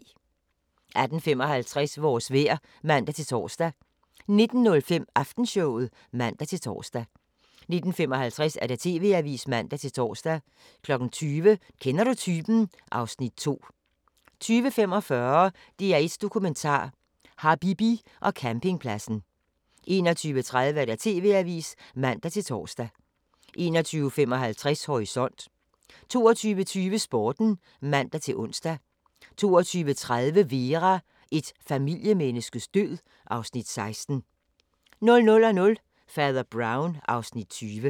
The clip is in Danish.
18:55: Vores vejr (man-tor) 19:05: Aftenshowet (man-tor) 19:55: TV-avisen (man-tor) 20:00: Kender du typen? (Afs. 2) 20:45: DR1 Dokumentar: Habibi og campingpladsen 21:30: TV-avisen (man-tor) 21:55: Horisont 22:20: Sporten (man-ons) 22:30: Vera: Et familiemenneskes død (Afs. 16) 00:00: Fader Brown (Afs. 20)